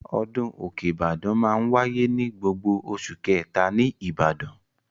Ọdún òkè Ìbàdàn máa ń wáyé ní gbogbo oṣù kẹ̀ta ní Ìbàdàn.